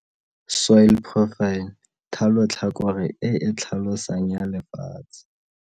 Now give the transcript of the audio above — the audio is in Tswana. Soil profile. Thalotlhakore e e tlhalosang ya lefatshe.